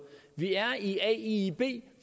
vi er i aiib